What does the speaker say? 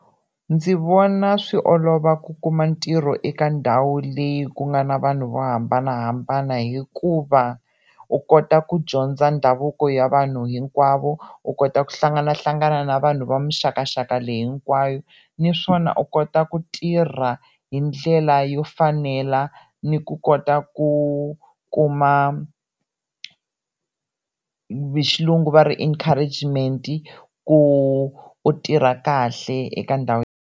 Ndzi vona swi olova ku kuma ntirho eka ndhawu leyi ku nga na vanhu vo hambanahambana hikuva u kota ku dyondza ndhavuko ya vanhu hinkwavo, u kota ku hlanganahlangana na vanhu va mixakaxaka leyi hinkwayo naswona u kota ku tirha hi ndlela yo fanela ni ku kota ku kuma hi xilungu va ri encouragement ku u tirha kahle eka ndhawu.